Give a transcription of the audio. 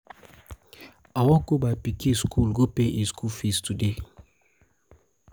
my doctor tell me say make i come today so na there i wan go